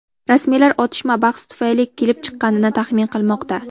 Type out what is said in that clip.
Rasmiylar otishma bahs tufayli kelib chiqqanini taxmin qilmoqda.